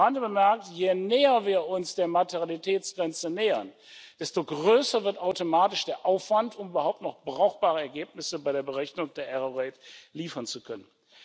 Und am Rande bemerkt Je näher wir uns der Materialitätsgrenze nähern, desto größer wird automatisch der Aufwand, um überhaupt noch brauchbare Ergebnisse bei der Berechnung der Fehlerquote liefern zu können.